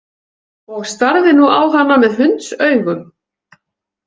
Og starði nú á hana með hundsaugum.